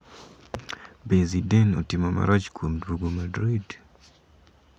Be Zidane otimo marach kuom duogo Madrid?